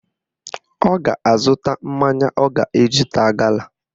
Ọ ga-azụta mmanya ọ ga-eji taa gala